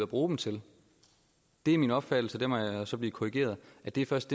bruge dem til det er min opfattelse og der må jeg så blive korrigeret at det først